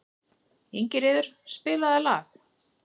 Ingiríður, spilaðu lag.